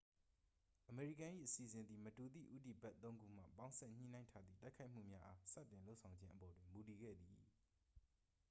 အမေရိကန်၏ အစီအစဉ်သည် မတူသည့် ဦးတည်ဘက်သုံးခုမှ ပေါင်းစပ်ညှိနှိုင်းထားသည့် တိုက်ခိုက်မှုများအား စတင်လုပ်ဆောင်ခြင်းအပေါ်တွင် မူတည်ခဲ့သည်